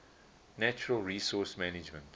natural resource management